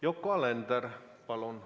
Yoko Alender, palun!